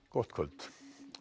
gott kvöld